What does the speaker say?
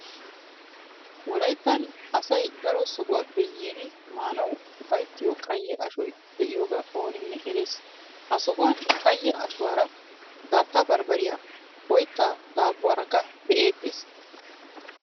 Wolayttan asay daro sohuwappe yiidi maanawu ufayttiyo qayye ashoy de'iyogaa ooninne erees. Ha sohuwan qayye ashuwara daatta barbbariya, oyttaa daabbuwakko be'eettees.